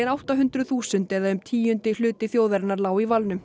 átta hundruð þúsund eða um tíundi hluti þjóðarinnar lá í